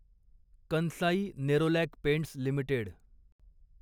Kansai Nerolac paints limited